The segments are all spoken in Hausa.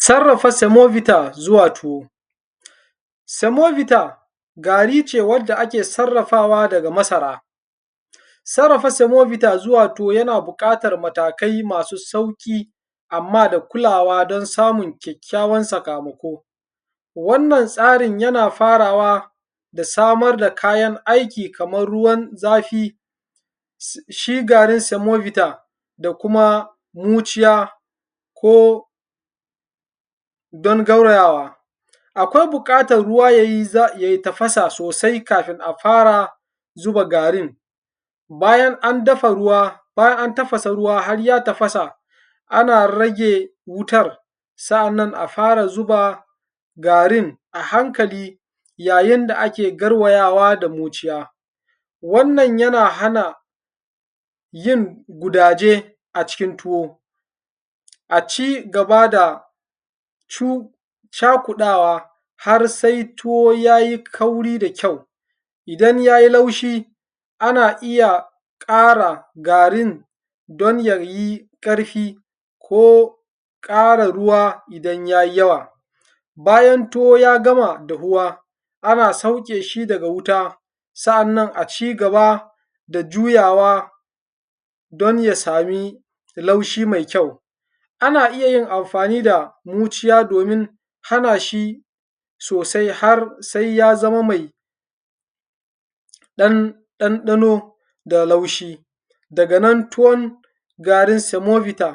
Sarrafa semovita zuwa tuwo. Semovita gari ce wadda ake sarrafawa daga masara. Sarrafa semovita zuwa tuwo yana buƙatar matakai masu sauƙi amma da kulawa da samun kyakkyawan sakamako. Wannan tsarin yana fatawa da samar da kayan aiki kamar ruwan zafi, shi garin semovita da kuma muciya ko don gaura yawa. Akwai buƙatar ruwa yayi za, ya yi tafasa sosai kafin a fara zuba garin. Bayan an dafa ruwa, bayan an tafasa ruwa har ya tafasa, ana rage wutar, sa'annan a fara zuba garin a hankali, ya yin da ake garwayawa da zuciya, wannan yana hana yin gidaje acikin tuwo, a ci-gaba da cu cakuɗawa har sai tuwo ya yi kauri da kyau. Idan ya yi laushi ana iya ƙara garin don ya yi ƙarfi ko ƙara ruwa idan ya yi yawa. Bayan tuwo ya gama dahuwa ana sauke shi daga wuta sa'annan a ci-gaba da juyawa don ya sami laushi mai kyau. Ana iya yin amfani da muciya domin haɗa shi sosai har sai ya zama mai ɗan ɗanɗano da laushi daga nan tuwon garin semovita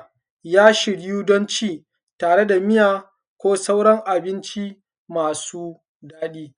ya shirya don ci tare da miya ko sauran abinci masu daɗi.